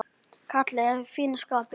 Kalli er í fínu skapi.